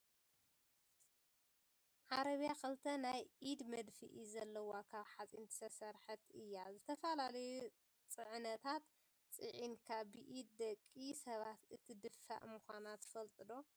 ዓረብያ ክልተ ናይ ኢድ መድፍሒ ዘለዋ ካብ ሓፂን ዝተሰረሓት እያ። ዝተፈላለዩ ፅዕነታት ፅዕንካ ብኢደ ደቂ ሰባት እትድፋእ ምኳና ትፈልጡ ዶ?